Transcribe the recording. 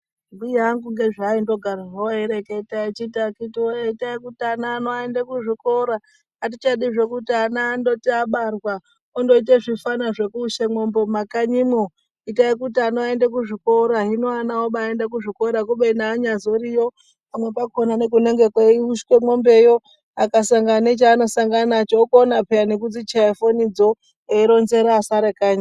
Mbuya angu ndozvaingogara zvawo eyireketa echiti akiti woyee itai kuti ana enyuu aende kuzvikora atichadi zvekuti ana andoti abarwa ondoiti zvifana zvoku ushe mombe mumakanyi umwo Itai kuti ana aende kuzvikora hino ana oende kuzvikora kubeni anya zoriyo kumwe kwakona nekunge kweyi ushwe mombeyo akasangana nechaanenge asangana nacho unozokona peya nekuchaya foni dzoo eyironzera asara kanyi.